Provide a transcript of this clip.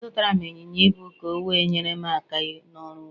Azụtara m ịnyịnya ibu ka o we nyere m aka n'ọrụ ugbo